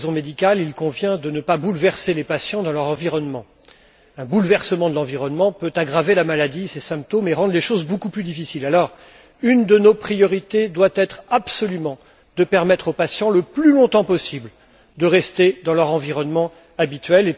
Pour des raisons médicales, nous savons qu'il convient de ne pas bouleverser les patients dans leur environnement. Un bouleversement de l'environnement peut aggraver la maladie et ses symptômes et rendre les choses beaucoup plus difficiles. Une de nos priorités doit être absolument de permettre aux patients de rester le plus longtemps possible dans leur environnement habituel.